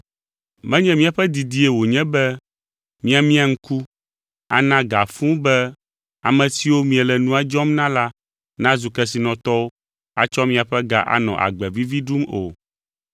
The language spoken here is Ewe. Menye míaƒe didie wònye be miamia ŋku, ana ga fũu be ame siwo miele nua dzɔm na la nazu kesinɔtɔwo atsɔ miaƒe ga anɔ agbe vivi ɖum o,